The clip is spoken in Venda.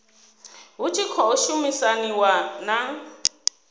hu tshi khou shumisaniwa na